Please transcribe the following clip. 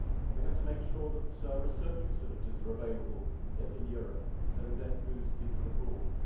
We have to make sure that research facilities are available in Europe so we do not lose people abroad.